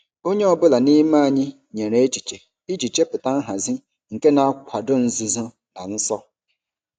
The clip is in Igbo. Onye ọ bụla n'ime anyị nyere echiche iji chepụta nhazi nke na-akwado nzuzo na ọsọ.